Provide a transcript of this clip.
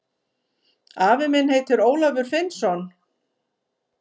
Afi minn heitir Ólafur Finnsson.